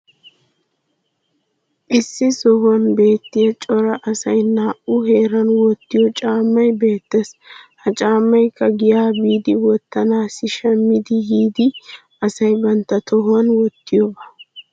issi sohuwan beetiya cora asay nu heeran wottiyo caamay beettees. ha caamaykka giyaa biidi wottanaassi shammidi yiidi asay bantta tohuwan wottiyooba.